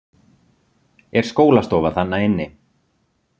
Er skólastofa þarna inni?